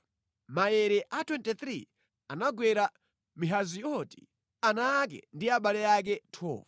Maere a 23 anagwera Mahazioti, ana ake ndi abale ake. 12